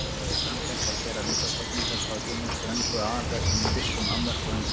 Þótti sanngjarnt að gera undantekningar frá hinum ströngu aðalreglum í vissum afmörkuðum tilvikum.